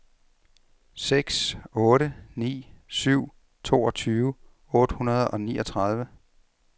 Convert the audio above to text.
seks otte ni syv toogtyve otte hundrede og niogtredive